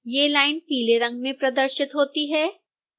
ये लाइन पीले रंग में प्रदर्शित होती हैं